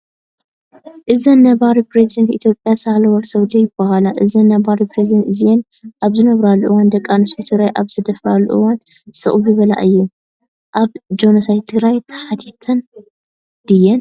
እዘን ነባር ፕረዚዳን ኢትዮጵያ ሳህለወርቅ ዘውዴ ይበሃላ ። እዘን ነበር ፕረዚዳን እዚእን ኣብዘነበራሉ እዋን ደቂ ኣንስትዮ ትግራይ ኣብዝድፈራሉ እዋ ስቅ ዝበላ እየን ። ኣብ ጆነሳይ ትግርይ ተሓታቲት ድየን ?